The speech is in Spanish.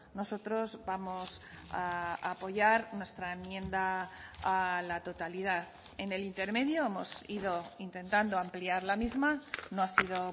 nosotros vamos a apoyar nuestra enmienda a la totalidad en el intermedio hemos ido intentando ampliar la misma no ha sido